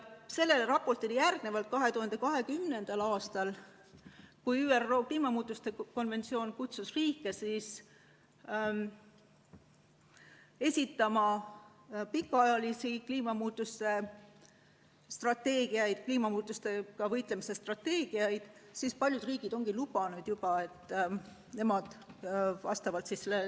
Pärast seda raportit ja kui 2020. aastal ÜRO kliimamuutuste konventsioonis kutsuti riike esitama pikaajalisi kliimamuutustega võitlemise strateegiaid, paljud riigid ongi lubanud juba, et nemad tegutsevad vastavalt.